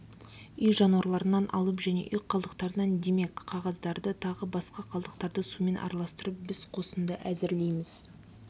үй жануарларынан алып және үй қалдықтарынан демек қағаздарды тағы басқа қалдықтарды сумен араластырып біз қосынды әзірлейміз